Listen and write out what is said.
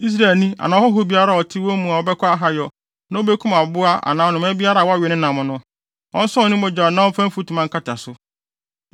“ ‘Israelni anaa ɔhɔho biara a ɔte wɔn mu a ɔbɛkɔ ahayɛ na obekum aboa anaa anomaa biara a wɔwe ne nam no, ɔnsɔn ne mogya na ɔmfa mfutuma nkata so,